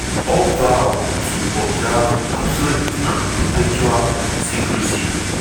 all vow to observe "absolute and perpetual secrecy".